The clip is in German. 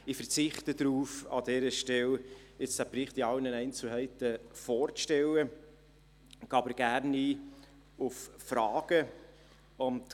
Ich verzichte an dieser Stelle darauf, den Bericht in allen Einzelheiten vorzustellen, gehe aber gerne auf Fragen ein.